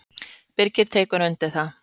Birgir tekur undir það.